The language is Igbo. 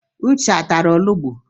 Uche atara olugbu?